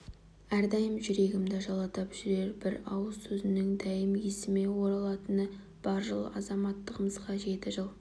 әрдайым жүрегімді жылытып жүрер бір ауыз сөзінің дәйім есіме оралатыны бар жыл азаттығымызға жеті жыл